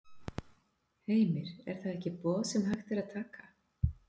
Heimir: Er það ekki boð sem hægt er að taka?